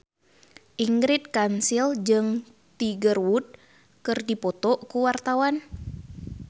Ingrid Kansil jeung Tiger Wood keur dipoto ku wartawan